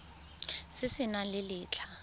se se nang le letlha